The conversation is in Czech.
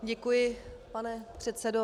Děkuji, pane předsedo.